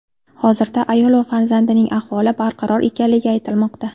Hozirda ayol va farzandining ahvoli barqaror ekanligi aytilmoqda.